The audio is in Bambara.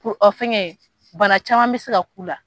Ko ɔ fɛngɛ bana caman bɛ se ka k'u la